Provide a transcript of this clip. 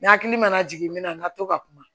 Ni hakili mana jigin min na n ka to ka kuma